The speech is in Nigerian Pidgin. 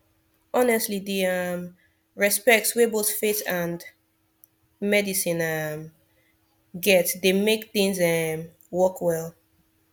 honestly di um respect wey both faith and medicine um get dey mek things um work well